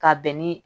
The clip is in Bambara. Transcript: Ka bɛn ni